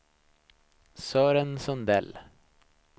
Sören Sundell